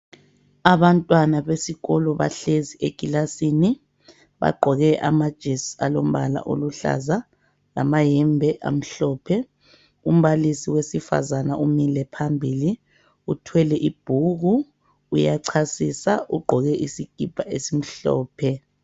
Abantwana besikolo bahlezi ekilasini. Bagqoke amajesi alombala oluhlaza, lamayembe amhlophe. Umbalisi wesifazana umile phambili. Uthwele ibhuku, uyachasisa, ugqoke isikipa esimhlophe.